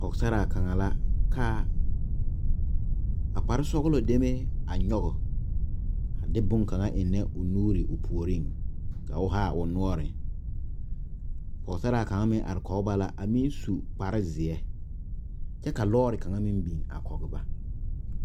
Pɔɔgesaraa kaŋa la ka kpare sɔglɔ demee a nyɔge a de boŋ kaŋa eŋnɛ o nuuri o puoriŋ ka o haa o noɔri pɔgesaraa kaŋ meŋ are kɔŋ ba la kyɛ su kpare zie kyɛ lɔɔri kaŋa biŋ kɔŋ ba.